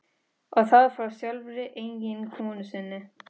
Og það frá sjálfri eiginkonu sinni.